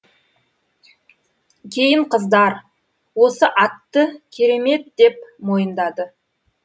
кейін қыздар осы атты керемет деп мойындады